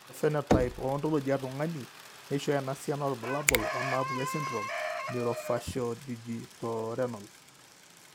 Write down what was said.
Ore ephenotype ontology etung'ani neishooyo enasiana oorbulabul onaapuku esindirom eNeurofaciodigitorenal.